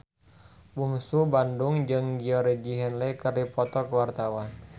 Bungsu Bandung jeung Georgie Henley keur dipoto ku wartawan